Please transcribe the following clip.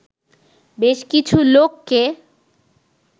বেশ কিছু লোককে